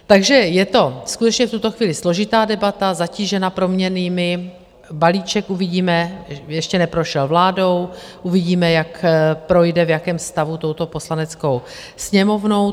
Takže je to skutečně v tuto chvíli složitá debata zatížená proměnnými, balíček uvidíme, ještě neprošel vládou, uvidíme, jak projde, v jakém stavu touto Poslaneckou sněmovnou.